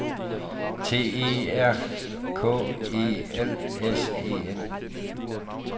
T E R K E L S E N